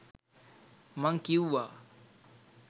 මං කිවුවා.